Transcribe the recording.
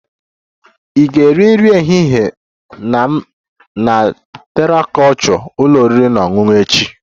Ị ga-eri nri ehihie na m na Terra kulture ụlọ oriri na ọṅụṅụ echi?